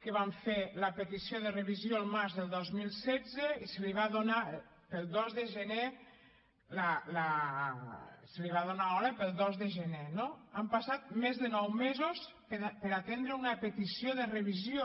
que van fer la petició de revisió el març del dos mil setze i se’ls va donar hora per al dos de gener no han passat més de nou mesos per atendre una petició de revisió